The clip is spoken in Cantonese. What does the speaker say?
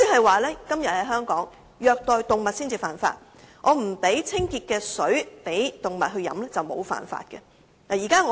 換言之，現時，在香港虐待動物才算犯法，而不提供清潔的水給動物飲用則不算犯法。